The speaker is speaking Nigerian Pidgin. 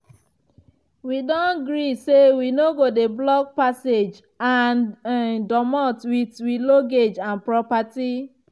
wi don gree say wi no go dey block passage and um domot wit wi luggage and properti.